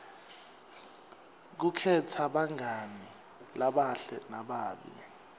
kukhetsa bangani labahle nalababi